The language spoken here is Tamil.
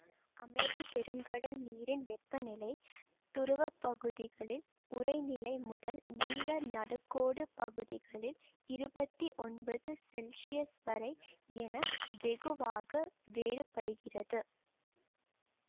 அமைதி பெருங்கடல் நீரின் வெப்பநிலை துருவப்பகுதிகளில் உறைநிலை முதல் நில நடுக்கோடு பகுதிகளில் இருவத்தி ஒன்பது செல்ஷியஸ் வரை என வெகுவாக வேறுபடுகிறது